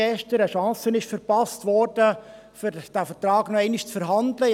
Eine Chance wurde verpasst, diesen Vertrag noch einmal zu verhandeln.